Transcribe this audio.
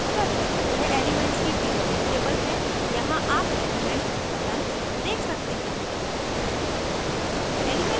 यह एलीमेन्ट्स की periodic table है यहाँ आप element buttons देख सकते हैं